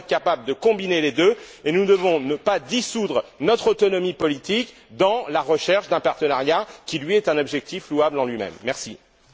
Nous devons être capables de combiner les deux, et nous ne devons pas dissoudre notre autonomie politique dans la recherche d'un partenariat qui est un objectif louable en soi.